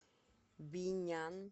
бинян